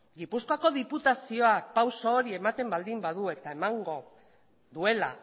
gipuzkoako diputazioak pausu hori ematen baldin badu eta emango duela